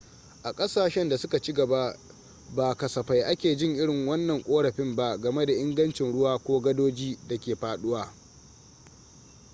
a kasashen da suka ci gaba ba kasafai ake jin irin wannan korafin ba game da ingancin ruwa ko gadoji da ke faduwa